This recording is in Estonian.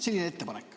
Selline ettepanek.